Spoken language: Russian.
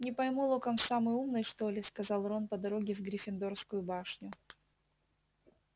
не пойму локонс самый умный что ли сказал рон по дороге в гриффиндорскую башню